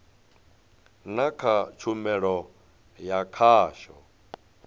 na kha tshumelo ya khasho